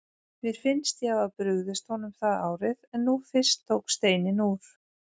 Mér fannst ég hafa brugðist honum það árið, en nú fyrst tók steininn úr.